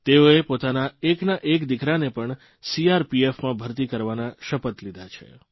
તેઓએ પોતાના એકના એક દિકરાને પણ સીઆરપીએફમાં ભરતી કરવાના શપથ લીધા છે